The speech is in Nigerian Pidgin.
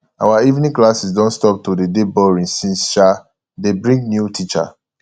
our evening classes don stop to dey dey boring since um dey bring new teacher